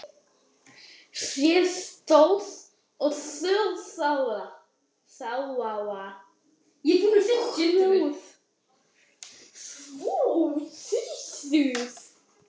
Egils saga Skalla-Grímssonar.